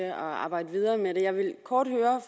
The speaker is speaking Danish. at arbejde videre med det jeg ville kort høre